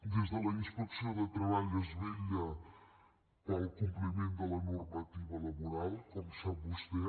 des de la inspecció de treball es vetlla pel compliment de la normativa laboral com sap vostè